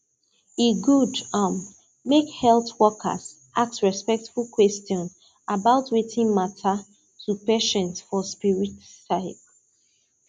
e good um make health workers ask respectful question about wetin matter to patient for spirit side